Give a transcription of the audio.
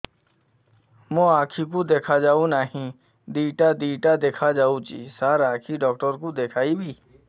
ମୋ ଆଖିକୁ ଦେଖା ଯାଉ ନାହିଁ ଦିଇଟା ଦିଇଟା ଦେଖା ଯାଉଛି ସାର୍ ଆଖି ଡକ୍ଟର କୁ ଦେଖାଇବି